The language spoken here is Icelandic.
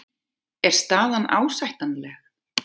Er staðan ásættanleg?